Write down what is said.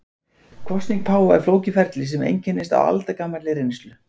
Kosning páfa er flókið ferli sem einkennist af aldagamalli reynslu.